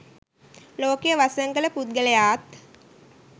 ලෝකය වසඟ කළ පුද්ගලයාත්